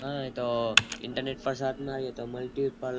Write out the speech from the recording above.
હા એ તો Internet તો મળતી ઉપર